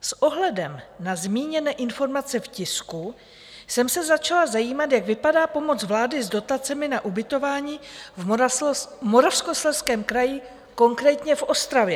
S ohledem na zmíněné informace v tisku jsem se začala zajímat, jak vypadá pomoc vlády s dotacemi na ubytování v Moravskoslezském kraji, konkrétně v Ostravě.